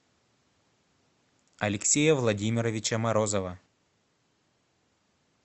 алексея владимировича морозова